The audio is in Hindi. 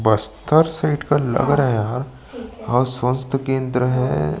बस्तर साईड का लग रहा है यह और स्वस्थ केंद्र है --